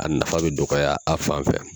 A nafa bɛ dɔgɔya a fan fɛ.